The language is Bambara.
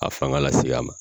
A fanga la se a ma